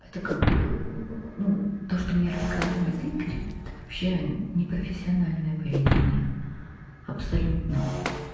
это как бы ну то что мне рассказывает игорь это вообще непрофессиональное поведение абсолютно